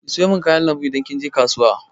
Ki sayo min kayan lambu idan kin je kasuwa!